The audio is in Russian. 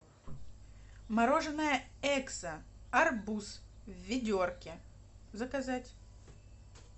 мороженое экзо арбуз в ведерке заказать